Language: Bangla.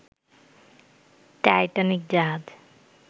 টাইটানিক জাহাজ